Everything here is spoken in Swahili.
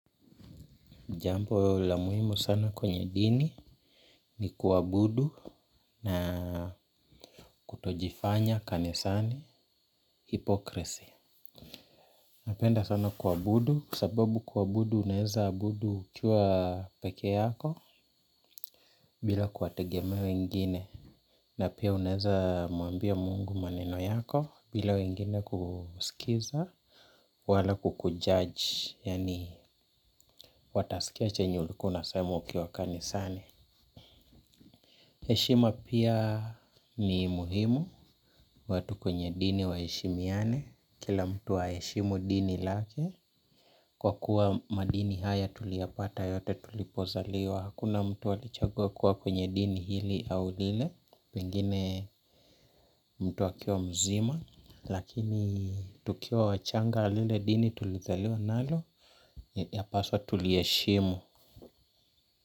Jambo la muhimu sana kwenye dini ni kuabudu na kutojifanya kanisani, hypocrisy. Napenda sana kuabudu, kwa sababu kuabudu unaweza abudu ukiwa pekee yako bila kuwategemea wengine na pia unaweza mwambia Mungu maneno yako bila wengine kusikiza wala kukujudge, yaani watasikia chenye ulikuwa unasema ukiwa kanisani. Heshima pia ni muhimu. Watu kwenye dini wa heshimiane, kila mtu aheshimu dini lake, kwa kuwa madini haya tuliya pata yote tulipozaliwa. Hakuna mtu alichagua kuwa kwenye dini hili au lile pengine mtu akiwa mzima, lakini tukiwa wachanga lile dini tulizaliwa nalo, yapaswa tuliheshimu.